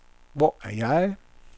Hvor er jeg